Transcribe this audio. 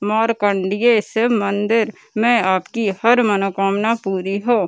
मार्कण्डेय इस मंदिर में आपकी हर मनोकामना पूरी हो।